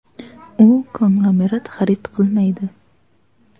U konglomerat xarid qilmaydi.